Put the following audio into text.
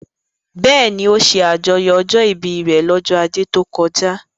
Bẹ́ẹ̀ni, ó ṣe àjọyọ̀ ọjọ́ ìbí rẹ̀ lọ́jọ́ ajé tó kọjá